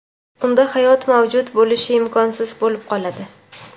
unda hayot mavjud bo‘lishi imkonsiz bo‘lib qoladi.